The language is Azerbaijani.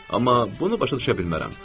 Amma bunu başa düşə bilmərəm.